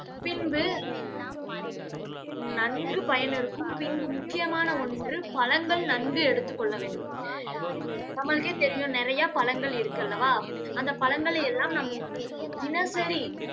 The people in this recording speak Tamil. பின்பு நன்கு பயன் இருக்கும். பின்பு முக்கியமான ஒன்று, பழங்கள் நன்கு எடுத்துக் கொள்ள வேண்டும். நம்மளுக்கே தெரியும், நிறைய பழங்கள் இருக்கல்லவா? அந்த பழங்களை எல்லாம் நாம் தினசரி